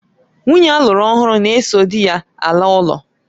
Nwunye alụru ọhụrụ na-eso dị ya ala ụlọ